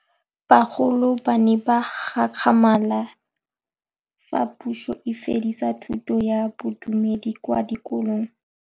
Bagolo ba ne ba gakgamala fa Pusô e fedisa thutô ya Bodumedi kwa dikolong.